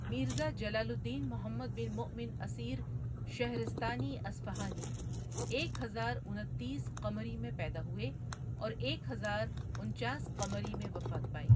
میرزا جلال الدین محمد بن مؤمن اسیر شهرستانی اصفهانی ایک ہزار انتیس قمری میں پیدا ہوئے اور ایک ہزار انچاس قمری میں وفات پائ۔